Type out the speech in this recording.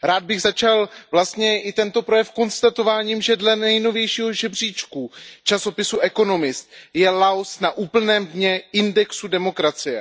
Rád bych začal vlastně i tento projev konstatováním, že dle nejnovějšího žebříčku časopisu Economist je Laos na úplném dně indexu demokracie.